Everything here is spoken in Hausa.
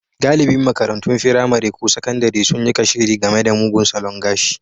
Galibin makarantun firamare ko sakandare sun yi kashedi game da mugun salon gashi.